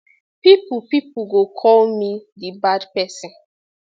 pipo pipo go call me di bad person